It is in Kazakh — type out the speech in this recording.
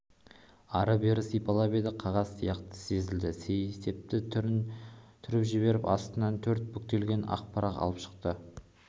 ары-бері сипалап еді қағаз сияқты сезілді сейсепті түріп жіберіп астынан төрт бүктелген ақ парақ алып шықты